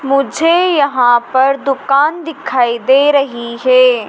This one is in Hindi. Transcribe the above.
मुझे यहां पर दुकान दिखाई दे रही है।